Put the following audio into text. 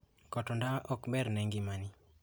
Koto ndawa ok ber ne ngimani.